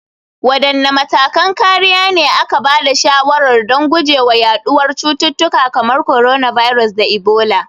Wadanne matakan kariya ne aka ba da shawarar don guje wa yaduwar cututtuka kamar coronavirus da Ebola?